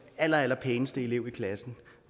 allerallerpæneste elev i klassen